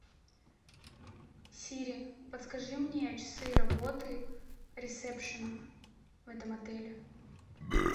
сири подскажи мне часы работы ресепшена в этом отеле